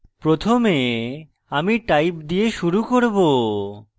প্রথমে আমি type দিয়ে শুরু করব